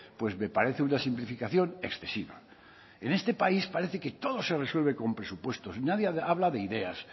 pues me parece una simplificación excesiva en este país parece que todo se resuelve con presupuestos nadie habla de ideas